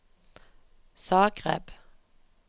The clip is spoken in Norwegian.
Zagreb